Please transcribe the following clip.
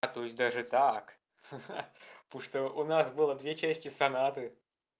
а то есть даже так ха-ха потому что у нас было две части сонаты